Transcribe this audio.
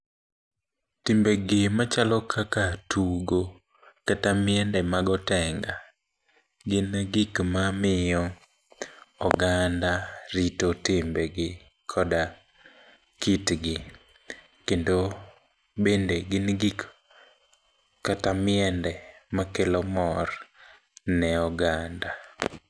Timbegi machalo kaka tugo kata miende mag otenga, gin e gik mamiyo oganda rito timbegi koda kitgi kendo gin gik kata miende makelo mor ne oganda.